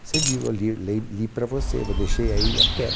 Você viu, eu lir lei li para você, vo deixei aí até.